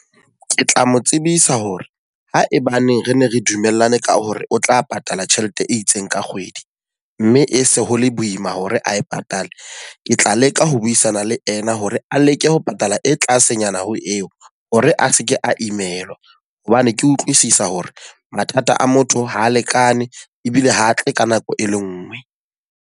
Ke tla mo tsebisa hore haebaneng re ne re dumellane ka hore o tla patala tjhelete e itseng ka kgwedi. Mme e se ho le boima hore a e patale. Ke tla leka ho buisana le ena hore a leke ho patala e tlasenyana ho eo, hore a seke a imelwa hobane ke utlwisisa hore mathata a motho ha a lekane ebile ho tle ka nako e le nngwe.